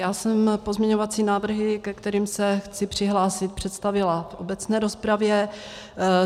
Já jsem pozměňovací návrhy, ke kterým se chci přihlásit, představila v obecné rozpravě.